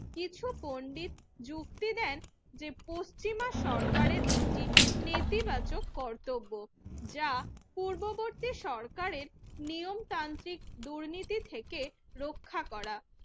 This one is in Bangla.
কিছু পন্ডিত যুক্তি দেন যে পশ্চিমা সরকারের একটি নেতিবাচক কর্তব্য যা পূর্ববর্তী সরকারের নিয়ম তান্ত্রিক দুর্নীতি থেকে রক্ষা করা